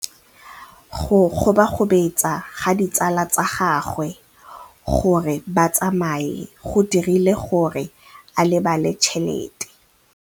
Go gobagobetsa ga ditsala tsa gagwe, gore ba tsamaye go dirile gore a lebale tšhelete.